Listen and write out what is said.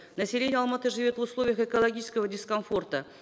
население алматы живет в условиях экологического дискомфорта